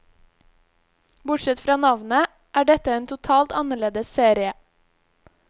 Bortsett fra navnet, er dette en totalt annerledes serie.